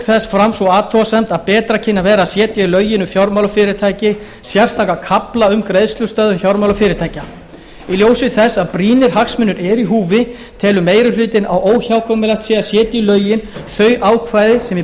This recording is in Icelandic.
þess fram sú athugasemd að betra kynni að vera að setja í lögin um fjármálafyrirtæki sérstakan kafla um greiðslustöðvun fjármálafyrirtækja í ljósi þess að brýnir hagsmunir eru í húfi telur meiri hlutinn að óhjákvæmilegt sé að setja í lögin þau ákvæði sem í